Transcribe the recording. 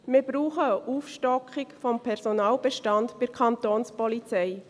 Wir brauchen eine Aufstockung des Personalbestands bei der Kapo.